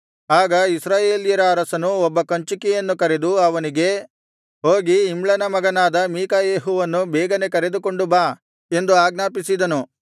ಆಗ ಇಸ್ರಾಯೇಲ್ಯರ ಅರಸನು ಒಬ್ಬ ಕಂಚುಕಿಯನ್ನು ಕರೆದು ಅವನಿಗೆ ಹೋಗಿ ಇಮ್ಲನ ಮಗನಾದ ಮೀಕಾಯೆಹುವನ್ನು ಬೇಗನೆ ಕರೆದುಕೊಂಡು ಬಾ ಎಂದು ಆಜ್ಞಾಪಿಸಿದನು